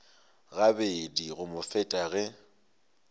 gabedi go mo feta ge